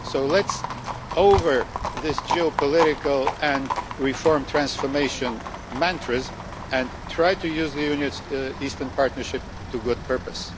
So let's move beyond these geopolitical and reform-transformation mantras and try to use the Union's Eastern Partnership to a good purpose.